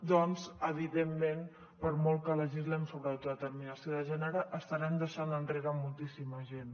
doncs evidentment per molt que legislem sobre autodeterminació de gènere estarem deixant enrere moltíssima gent